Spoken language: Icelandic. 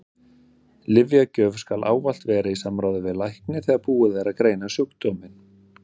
Lyfjagjöf skal ávallt vera í samráði við lækni þegar búið er að greina sjúkdóminn.